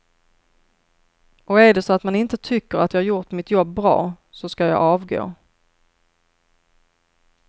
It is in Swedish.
Och är det så att man inte tycker att jag har gjort mitt jobb bra så ska jag avgå.